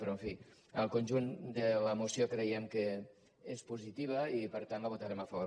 però en fi el conjunt de la moció creiem que és positiu i per tant la votarem a favor